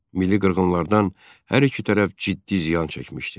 Milli qırğınlardan hər iki tərəf ciddi ziyan çəkmişdi.